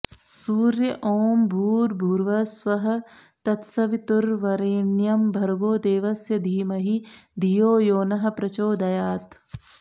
सूर्य ॐ भूर्भुवः स्वः तत्सवितुर्वरेण्यं भर्गो देवस्य धीमहि धियो यो नः प्रचोदयात्